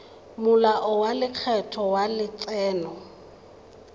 molao wa lekgetho wa letseno